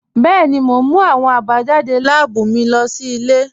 Bẹẹ̀ni, mo n mú awọn abajadé láàbú mí lọ sí ilẹ̀.